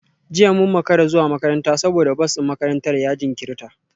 Jiya mun makara zuwa makaranta saboda bas din makarantar ya jinkirta